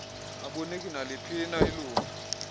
abuniki naliphina ilingu